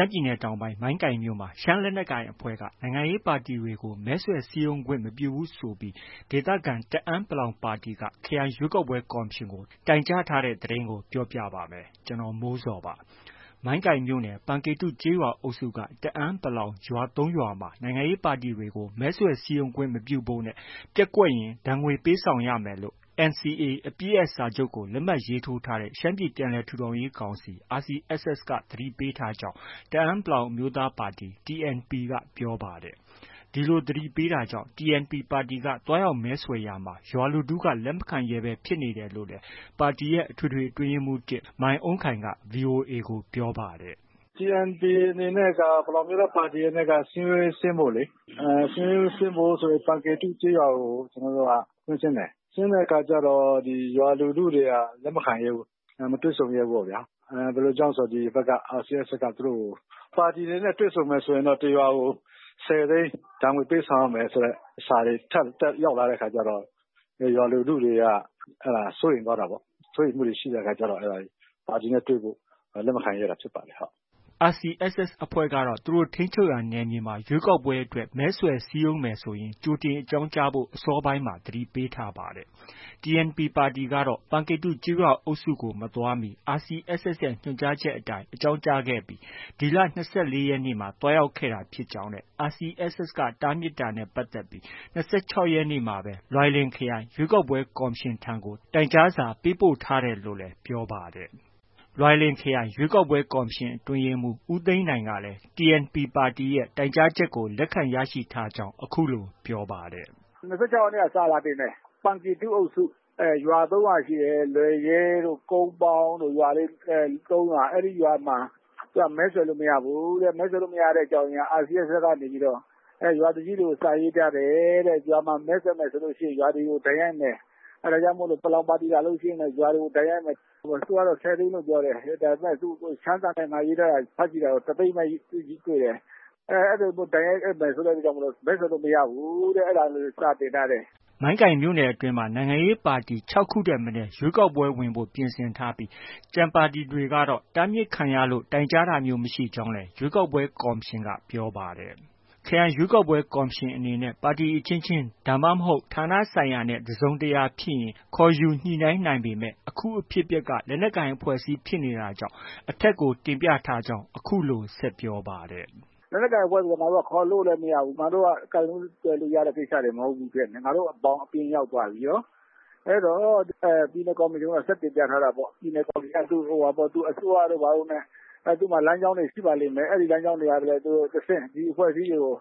မ်းပြည်နယ်တောင်ပိုင်း မိုင်းကိုင်မြို့နယ်မှာ ရှမ်းလက်ကိုင်အဖွဲ့က နိုင်ငံရေးပါတီတွေကို မဲဆွယ်စည်းရုံးခွင့်မပြုဘူးဆိုပြီး ဒေသခံ တအန်း(ပလောင်) ပါတီက၊ ခရိုင်ရွေးကောက်ပွဲကော်မရှင်ကို တိုင်ကြားထားတဲ့သတင်းကို ဗွီအိုအေမြန်မာပိုင်းသတင်းထောက် ကိုမိုးဇော်က ပြောပြပေးပါမယ်။ မိုင်းကိုင်မြို့နယ်၊ ပန်ကေတုကျေးရွာအုပ်စုက တအန်း(ပလောင်)ရွာ ၃ ရွာမှာ နိုင်ငံရေးပါတီတွေကို မဲဆွယ်စည်းရုံးခွင့်မပြုဖို့နဲ့ ပျက်ကွက်ခဲ့ရင် ဒဏ်ငွေပေးဆောင်ရမယ်လို့ NCA အပစ်ရပ်စာချုပ်ကို လက်မှတ်ရေးထိုးထားတဲ့ ရှမ်းပြည်ပြန်လည် ထူထောင်ရေးကောင်စီ RCSS က သတိပေးထားကြောင်း တအန်း(ပလောင်) အမျိုးသားပါတီ TNP ကပြောပါတယ်။ ဒီလိုသတိပေးထားတာကြောင့် TNP ပါတီက သွားရောက်မဲဆွယ်ရာမှာ ရွာလူထုက လက်မခံရဲဘဲ ဖြစ်နေတယ်လို့လည်း ပါတီရဲ့ အထွေထွေအတွင်းရေးမှူး ၁၊ မိုင်းအုန်းခိုင်က VOA ကို ပြောပါတယ်။ “TNP အနေနဲ့က ပလောင်အမျိုးသားပါတီအနေနဲ့က စည်းရုံးရေးဆင်းဖို့လေ။ စည်းရုံးရေးဆင်းဖို့ဆို ပန်ကေတု ကျေးရွာကို ကျနော်တို့က ကွင်းဆင်းတယ်။ ဆင်းတဲ့အခါကျတော့ ရွာလူထုတွေက လက်ခံရဲဘူး။ မတွေ့ဆုံရဲဘူးပေါ့ဗျာ။ ဘယ်လိုကြောင့်ဆို ဒီဘက်က RCSS က သူတို့ကို ပါတီတွေနဲ့ တွေ့ဆုံမယ်ဆိုရင်တော့ တစ်ရွာကို ၁၀သိန်း ဒဏ်ငွေ ပေးဆောင်ရမယ်ဆိုတဲ့ ထပ်ထပ်ရောက်လာတဲ့အခါကျတော့ ရွာလူထုတွေက စိုးရိမ်သွားတာပေါ့။ စိုးရိမ်မှုတွေဖြစ်တဲ့အခါက ပါတီနဲ့ တွေ့ဖို့ လက်မခံရဲတာဖြစ်ပါတယ်။” RCSS အဖွဲ့ကတော့ သူတို့ထိန်းချုပ်ရာ နယ်မြေမှာ ရွေးကောက်ပွဲအတွက် မဲဆွယ်စည်းရုံးမယ်ဆိုရင် ကြိုတင်အကြောင်းကြားဖို့ အစောပိုင်းမှာ သတိပေးထားပါတယ်။ TNP ပါတီကတော့ ပန်ကေတုကျေးရွာအုပ်စုကို မသွားမီမှာ RCSS ရဲ့ ညွှန်ကြားချက်အတိုင်း အကြောင်းကြားခဲ့ပြီး ဒီလ ၂၄ ရက်နေ့က သွားရောက်တာဖြစ်ကြောင်းနဲ့ RCSS တားမြစ်တာနဲ့ ပတ်သက်ပြီး ၂၆ ရက်နေ့မှာပဲ လွိုင်လင် ခရိုင် ရွေးကောက်ပွဲ ကော်မရှင်ထံကို တိုင်ကြားစာပေးပို့ထားတယ်လို့လည်း ပြောပါတယ်။ လွိုင်လင် ခရိုင်ရွေးကောက်ပွဲကော်မရှင် အတွင်းရေးမှူး ဦးသိန်းနိုင်ကလည်း TNP ပါတီရဲ့ တိုင်ကြားချက် လက်ခံရရှိထားကြောင်း အခုလို ပြောပါတယ်။ “၂၆ ရက်နေ့က စာတင်ထားတယ်။ ပန်ကေတုအုပ်စု ရွာ ၃ ရွာရှိတယ်။ လွယ်ရွဲှတို့၊ ကုန်းပေါင်းတို့ ရွာလေး ၃ ရွာ၊ အဲဒီရွာမှာ မဲဆွယ်လို့ မရဘူးတဲ့။ မဲဆွယ်လို့ မရတဲ့အကြောင်းရင်းက RCSS ကနေပြီးတော့ ရွာသူကြီးတွေကို စာရေးထားတယ်တဲ့။ ရွာမှာ မဲဆွယ်မယ်ဆိုရင် ရွာတွေကို ဒဏ်ရိုက်မယ်။ အဲဒါကြောင့်မို့ ပလောင်ပါတီ လာလို့ရှိရင် ရွာတွေကို ဒဏ်ရိုက်မယ်။ သူကတော့ ၁၀ သိန်းလို့ ပြောတယ်။ ဒါပေမဲ့ ရှမ်းစာနဲ့ ငါ ရေးထားတာ ဖတ်ကြည့်တာတော့ ၁၀၀,၀၀၀ ပဲ တွေ့တယ်။ အဲလိုမျိုးဒဏ်ရိုက်မယ်ဆိုလို့ မဲဆွယ်လို့ မရဘူးတဲ့ အဲ့ဒါ လေးကို စာတင်ထားတယ်။” မိုင်းကိုင်မြို့နယ်အတွင်းမှာ နိုင်ငံရေးပါတီ ၆ ခုထက်မနည်း ရွေးကောက်ပွဲဝင်ဖို့ ပြင်ဆင်ထားပြီး၊ ကျန်ပါတီတွေကတော့ တားမြစ်ခံရလို့ တိုင်ကြားတာမျိုး မရှိကြောင်းလည်း ရွေးကောက်ပွဲ ကော်မရှင်က ပြောပါတယ်။ ခရိုင်ရွေးကောက်ပွဲကော်မရှင်အနေနဲ့ ပါတီအဖွဲ့အစည်းအချင်းချင်း၊ ဒါမှမဟုတ် ဌာနဆိုင်ရာနဲ့ တစုံတရာဖြစ်ရင် ခေါ်ယူညှိနှိုင်းနိုင်ပေမဲ့ အခုအဖြစ်အပျက်က လက်နက်ကိုင်အဖွဲ့အစည်းဖြစ်နေတာကြောင့် အထက်ကို တင်ပြထားကြောင်း အခုလို ဆက်ပြောပါတယ်။ “လက်နက်ကိုင်အဖွဲ့ဆိုတော့ ငါတို့က ခေါ်လို့လည်း မရဘူး။ ငါတို့က ကိုင်လို့ တွယ်လို့ ရတဲ့ကိစ္စတွေ မဟုတ်ဘူးဖြစ်နေတယ်။ ငါတို့ ဘောင်အပြင်ရောက်သွားပြီ။ အဲတော့ ပြည်နယ် ကော်မရှင်ကိုတော့ ဆက်တင်ပြထားတာပေါ့။ ပြည်နယ်ကော်မရှင်က အစိုးရတို့ ဘာတို့နဲ့ သူ့မှာ လမ်းကြောင်းတွေ ရှိပါလိမ့်မယ်။ အဲဒီ လမ်းကြောင်းတွေက တဆင့် ဒီအဖွဲ့အစည်းတွေကို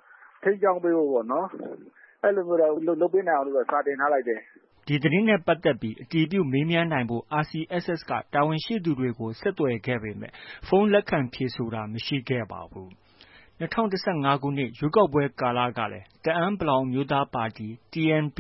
ထိန်းကြောင်းပေးဖို့ပေါ့နော်။ အဲလိုမျိုးတော့ လုပ်ပေးနိုင်အောင်လို့တော့ စာတင်ထားလိုက်တယ်။” ဒီသတင်းနဲ့ပတ်သက်ပြီး အတည်ပြုမေးမြန်းနိုင်ဖို့ RCSS က တာဝန်ရှိသူတွေကို ဆက်သွယ်ခဲ့ပေမဲ့ ဖုန်းလက်ခံ ဖြေဆိုတာ မရှိခဲ့ပါဘူး။ ၂၀၁၅ ခုနှစ်ရွေးကောက်ပွဲကာလကလည်း တအန်း(ပလောင်)အမျိုးသားပါတီ TNP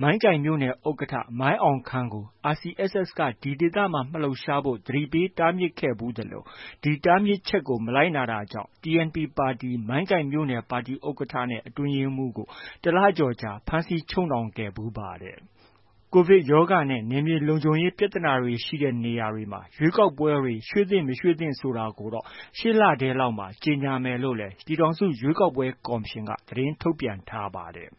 မိုင်းကိုင်မြို့နယ် ဥက္ကဋ္ဌ မိုင်းအောင်ခန်းကို RCSS က ဒီဒေသမှာ မလှုပ်ရှားဖို့ သတိပေးတားမြစ်ခဲ့ဖူးသလို ဒီတားမြစ်ချက်ကို မလိုက်နာတာကြောင့် TNP ပါတီ မိုင်းကိုင်မြို့နယ် ပါတီဥက္ကဋ္ဌနဲ့ အတွင်းရေးမှူးကို တစ်လကျော်ကြာ ဖမ်းဆီးချုပ်နှောင်ခဲ့ဖူးပါတယ်။ ကိုဗစ်ကပ်ရောဂါနဲ့ နယ်မြေလုံခြုံရေး ပြဿနာတွေ ရှိတဲ့ နေရာတွေမှာ ရွေးကောက်ပွဲတွေ ရွှေ့သင့်၊ မသင့်ဆိုတာကိုတော့ ရှေ့လထဲလောက်မှာ ကြေညာမယ်လို့လည်း ပြည်ထောင်စု ရွေးကောက်ပွဲ ကော်မရှင်က သတင်းထုတ်ပြန်ထားပါတယ်